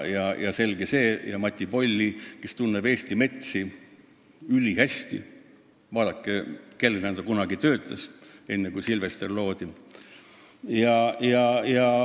On selge, et ka Mati Polli tunneb Eesti metsi ülihästi – vaadake, kellena ta kunagi töötas, enne kui Sylvester loodi!